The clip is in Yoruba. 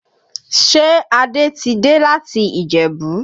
Ṣé Adé ti dé láti Ìjẹ̀bú?